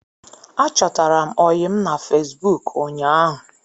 Achọtara m ọyịm na Fesbụụk ụñyaahu